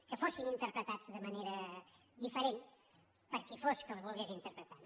que fossin interpretats de manera diferent per qui fos que els volgués interpretar